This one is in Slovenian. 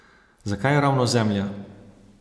Zakaj ravno Zemlja?